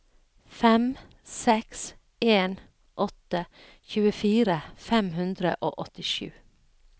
fem seks en åtte tjuefire fem hundre og åttisju